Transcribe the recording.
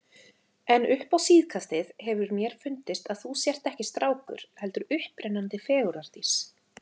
En upp á síðkastið hefur mér fundist að þú sért ekki strákur, heldur upprennandi fegurðardís.